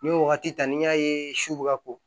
N'i ye wagati ta n'i y'a ye su bɛ ka ko